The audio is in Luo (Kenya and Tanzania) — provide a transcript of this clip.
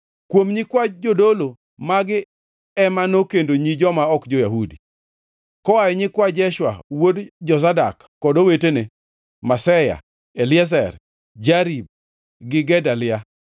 Kuom nyikwa jodolo, magi ema nokendo nyi joma ok jo-Yahudi. Koa e nyikwa Jeshua wuod Jozadak, kod owetene: Maseya, Eliezer, Jarib gi Gedalia.